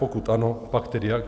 Pokud ano, pak tedy jak?